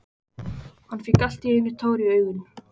Hann fékk allt í einu tár í augun.